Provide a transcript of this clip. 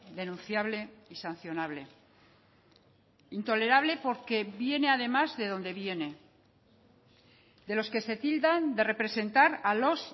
denunciable y sancionable intolerable porque viene además de donde viene de los que se tildan de representar a los